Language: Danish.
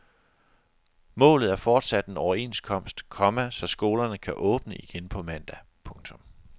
Målet er fortsat en overenskomst, komma så skolerne kan åbne igen mandag. punktum